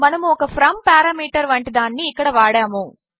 మనము ఒక from parameter వంటి దానిని ఇక్కడ వాడము